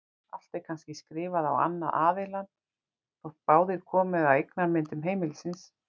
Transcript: Allt er kannski skrifað á annan aðilann þótt báðir komi að eignamyndun heimilisins.